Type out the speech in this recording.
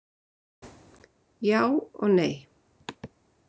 Já og nei